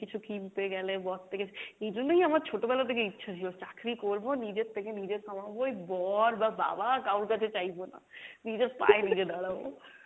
কিছু কিনতে গেলে বর থেকে, এই জন্যই আমার ছোটবেলা থেকে ইচ্ছা ছিলো চাকরি করবো নিজের থেকে নিজে কামাবো এই বর বা বাবা কাওর কাছে চাইবো না নিজের পায়ে নিজে দাড়াবো।